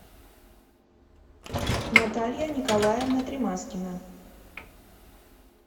наталья николаевна тримаскина